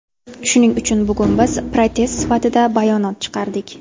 Shuning uchun bugun biz protest sifatida bayonot chiqardik.